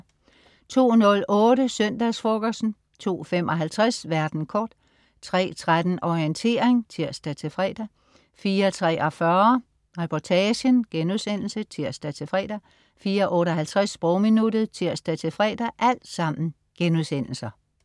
02.08 Søndagsfrokosten* 02.55 Verden kort* 03.13 Orientering* (tirs-fre) 04.43 Reportagen* (tirs-fre) 04.58 Sprogminuttet* (tirs-fre)